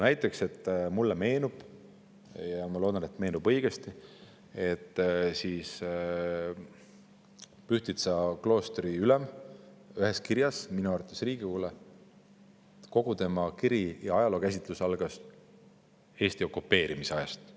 Näiteks, mulle meenub – ja ma loodan, et meenub õigesti –, et Pühtitsa kloostri ülema ühes kirjas, mis minu arvates oli see Riigikogule, algas kogu ajalookäsitlus Eesti okupeerimise ajast.